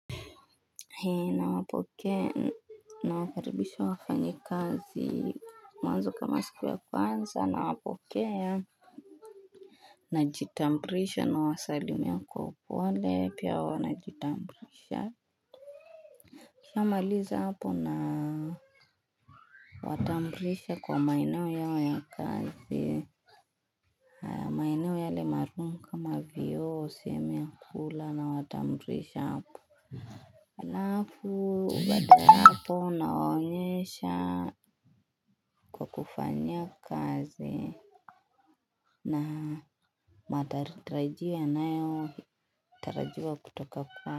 Nawapokea nawakaribisha wafanyikazi mwanzo kama siku ya kwanza nawapokea. Najitambulisha nawasalimia kwa upole pia wanajitambulisha. Nikishamaliza hapo na kuwatambulisha kwa maeneo yao ya kazi. Na maeneo yale maalum kama vyoo, sehemu ya kula nawatambulisha hapo. Halafu baada hapo nawaonyesha kwa kufanyia kazi na mandhari tarajiwa yanayotarajiwa kutoka kwao.